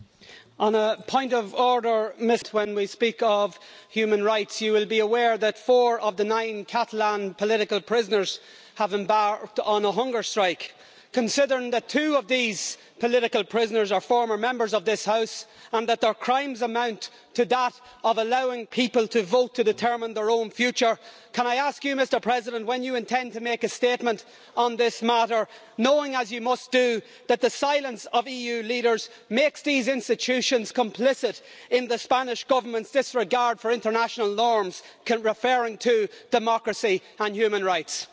Mr President, on a point of order, when we speak of human rights, you will be aware that four of the nine Catalan political prisoners have embarked on a hunger strike. Considering that two of these political prisoners are former Members of this House and that their crimes amount to that of allowing people to vote to determine their own future, can I ask you, Mr President, when you intend to make a statement on this matter, knowing as you must do that the silence of EU leaders makes the EU institutions complicit in the Spanish Government's disregard for international norms relating to democracy and human rights?